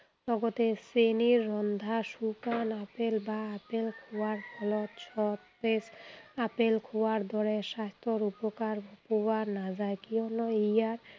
লগতে চেনিত ৰন্ধা শুকান আপেল বা আপেল খোৱাৰ ফলত সৱেই আপেল খোৱাৰ দৰে স্বাস্থ্য়ৰ উপকাৰ পোৱা নাযায়, কিয়নো ইয়াৰ